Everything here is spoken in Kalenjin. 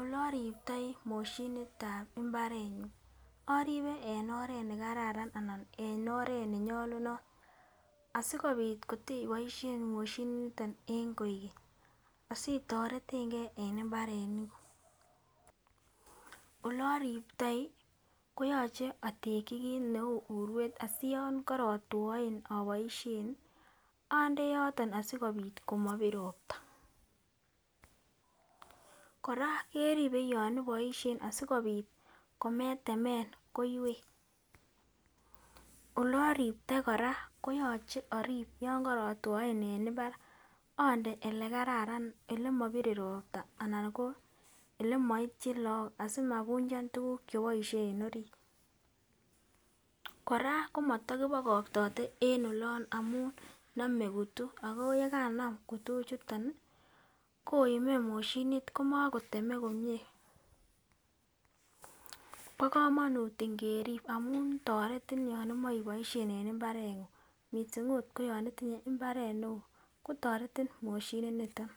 Ole oriptoi moshinitab imbarenyun oribe en oret nekararan anan en oret nenyolunot asikopit kote boishen moshinit niton en kogeny asitoretengee en imbarenik kuk. Ole oriptoi koyoche oteki kit neu uruet asiyon korotwoen oboishen olde yoton asikopit komopir ropta. Koraa keribe yon iboishen asikopit kometemen koiwek, ole oriptoi Koraa koyoche orip yon kerotwoe en imbar olde ole kararan ole mopire ropta anan ko olemoityin lok asimapunchan tukuk cheboishe en orit. Koraa komoto kipokoktote en olon amun nome kutu ako yekanam kutu ichuton nii koime moshinit komokoteme komie, bo komonut imgerib amun toretin yon imoche iboishen en imbarenguny missing ot koyon itinyee imbaret neo kotoretin moshinit niton.